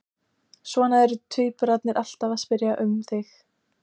Svo eru tvíburarnir alltaf að spyrja um þig